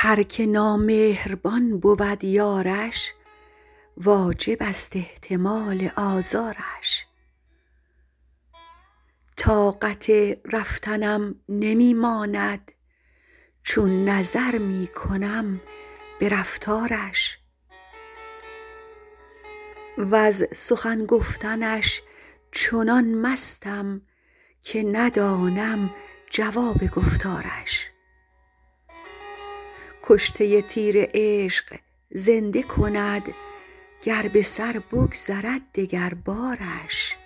هر که نامهربان بود یارش واجب است احتمال آزارش طاقت رفتنم نمی ماند چون نظر می کنم به رفتارش وز سخن گفتنش چنان مستم که ندانم جواب گفتارش کشته تیر عشق زنده کند گر به سر بگذرد دگربارش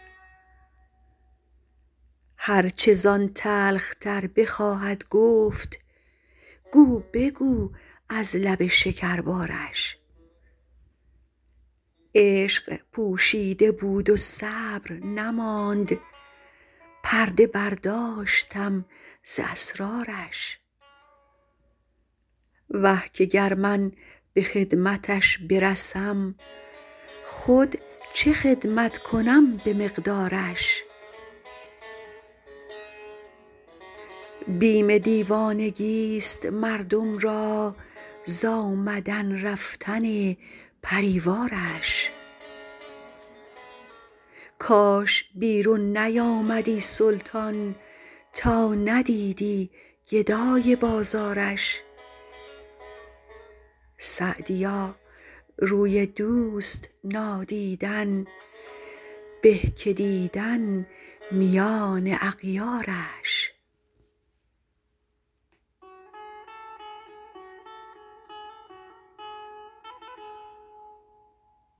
هر چه زان تلخ تر بخواهد گفت گو بگو از لب شکربارش عشق پوشیده بود و صبر نماند پرده برداشتم ز اسرارش وه که گر من به خدمتش برسم خود چه خدمت کنم به مقدارش بیم دیوانگیست مردم را ز آمدن رفتن پری وارش کاش بیرون نیامدی سلطان تا ندیدی گدای بازارش سعدیا روی دوست نادیدن به که دیدن میان اغیارش